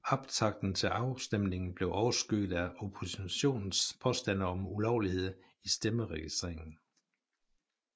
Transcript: Optakten til afstemningen blev overskygget af oppositionens påstande om ulovligheder i stemmeregistreringen